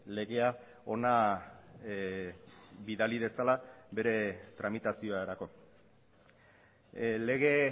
legea hona bidali dezala bere tramitaziorako lege